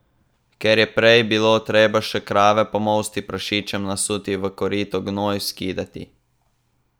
Ker prej je bilo treba še krave pomolsti, prašičem nasuti v korito, gnoj skidati.